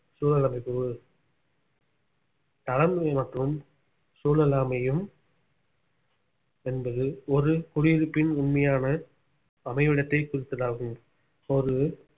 சூழல் அமைப்பு தளம் மற்றும் சூழல் அமையும் என்பது ஒரு குடியிருப்பின் உண்மையான அமைவிடத்தை குறிப்பதாகும் ஒரு